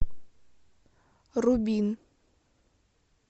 рубин